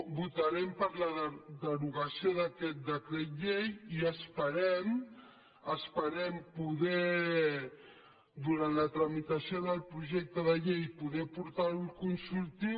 votarem per la derogació d’aquest decret llei i esperem durant la tramitació del projecte de llei poder portar lo al consultiu